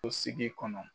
O sigi kɔnɔ